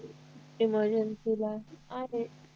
emergency ला आहेत